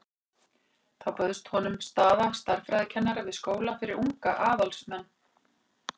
Þá bauðst honum staða stærðfræðikennara við skóla fyrir unga aðalsmenn.